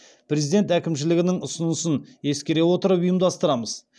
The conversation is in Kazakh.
президент әкімшілігінің ұсынысын ескере отырып ұйымдастырамыз